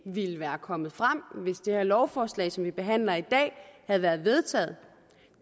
ville være kommet frem hvis det her lovforslag som vi behandler i dag havde været vedtaget